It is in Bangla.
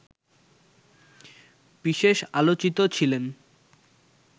বিশেষ আলোচিত ছিলেন